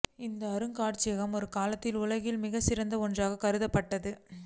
இந்த அருங்காட்சியகம் ஒரு காலத்தில் உலகின் மிகச்சிறந்த ஒன்றாக கருதப்பட்டது